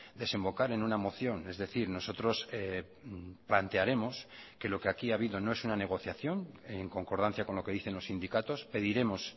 desembocar en una moción es decir nosotros plantearemos que lo que aquí ha habido no es una negociación en concordancia con lo que dicen los sindicatos pediremos